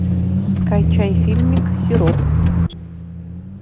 скачай фильмик сироп